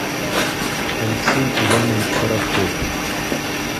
алексей иванович коротков